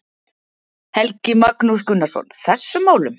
Helgi Magnús Gunnarsson: Þessum málum?